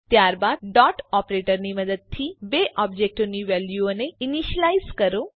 ત્યારબાદ dot operator ની મદદથી બે ઓબજેક્ટોની વેલ્યુઓને ઈનીશ્યલાઈઝ કરો